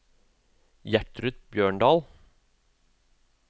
Gjertrud Bjørndal